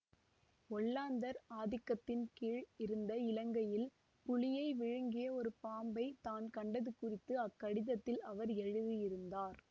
ஒல்லாந்தர் ஆதிக்கத்தின் கீழ் இருந்த இலங்கையில் புலியை விழுங்கிய ஒரு பாம்பை தான் கண்டது குறித்து அக்கடிதத்தில் அவர் எழுதியிருந்தார்